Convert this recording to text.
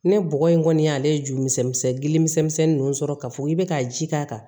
Ne bɔgɔ in kɔni y'ale ju misɛnnin gili misɛnnin ninnu sɔrɔ ka fɔ i bɛ ka ji k'a kan